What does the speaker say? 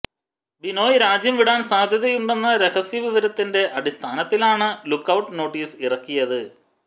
ബിനോയ് രാജ്യം വിടാൻ സാധ്യതയുണ്ടെന്ന രഹസ്യ വിവരത്തിന്റെ അടിസ്ഥാനത്തിലാണ് ലുക്കൌട്ട് നോട്ടീസ് ഇറക്കിയത്